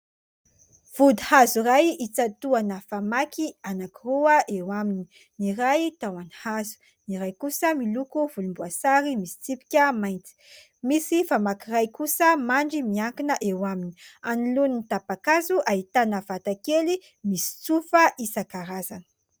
Vody hazo iray itsatoana famaky anankiroa eo aminy : ny iray tahony hazo, ny iray kosa miloko volomboasary misy tsipika mainty ; misy famaky iray kosa mandry miankina eo aminy. Anoloan 'ny tapa-kazo ahitana vata kely misy tsofa isankarazany.